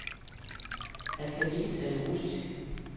Han kan ikke tale russisk.